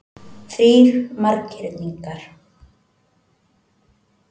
Þrír marghyrningar.